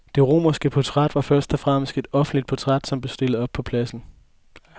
Det romerske portræt var først og fremmest et offentligt portræt, som blev stillet op på pladser.